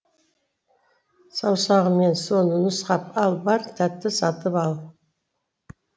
саусағыммен соны нұсқап ал бар тәтті сатып ал